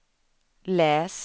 läs